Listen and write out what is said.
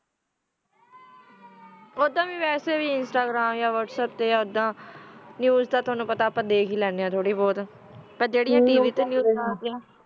ਓਦਾ ਵੀ ਤਾ ਵਾਸਾ ਵੀ ਇੰਸ੍ਤਾਗ੍ਰਾਮ ਤਾ ਯਾ ਵਹਾਤ੍ਸਾੱਪ ਤਾ ਨੇਵ੍ਸ ਤਾ ਟੋਨੋ ਪਤਾ ਆ ਅਪਾ ਦਾਖ ਹੀ ਲਾਨਾ ਆ ਪਰ ਜਾਰੀ ਤਵ ਤਾ ਨੇਵ੍ਸ ਲਾਗ੍ਦ੍ਯਾ ਨਾ